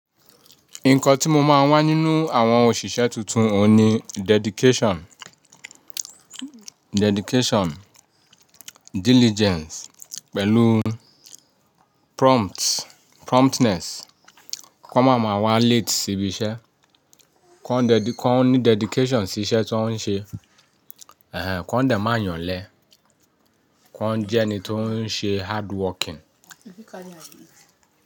Nǹkan tí mo máa ń wá nínú àwọn òṣìṣẹ́ tuntun òun ni dedication, diligence pẹ̀lú promptness. Kan máa ma wá late sí ibi iṣẹ́, kan ní dedication sí iṣẹ́ tań n ṣe, kan dẹ̀ máa yànlẹ́, kan jẹ́ ẹni tó ń ṣe hard working.